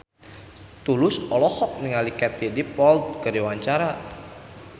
Tulus olohok ningali Katie Dippold keur diwawancara